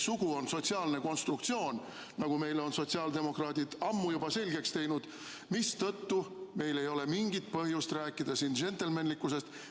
Sugu on meil sotsiaalne konstruktsioon, nagu sotsiaaldemokraadid on meile juba ammu selgeks teinud, mistõttu ei ole meil mingit põhjust rääkida siin džentelmenlikkusest.